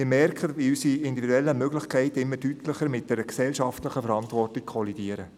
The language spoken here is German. Wir merken, wie unsere individuellen Möglichkeiten immer deutlicher mit einer gesellschaftlichen Verantwortung kollidieren.